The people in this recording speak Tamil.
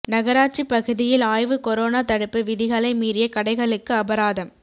நகராட்சி பகுதியில் ஆய்வு கொரோனா தடுப்பு விதிகளை மீறிய கடைகளுக்கு அபராதம்